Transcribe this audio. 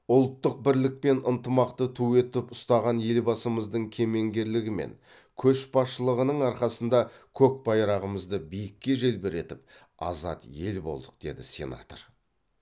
ұлттық бірлік пен ынтымақты ту етіп ұстаған елбасымыздың кемеңгерлігі мен көшбасшылығының арқасында көк байрағымызды биікке желбіретіп азат ел болдық деді сенатор